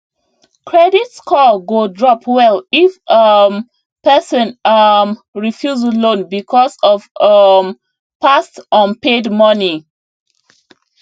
credit score go drop well if um person um refuse loan because of um past unpaid money